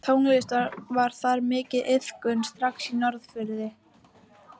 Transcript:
Tónlist var þar mikið iðkuð strax á Norðfirði.